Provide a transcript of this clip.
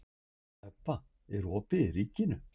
Ebba, er opið í Ríkinu?